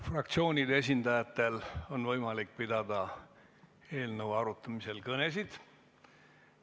Fraktsioonide esindajatel on võimalik pidada eelnõu arutamisel kõnesid.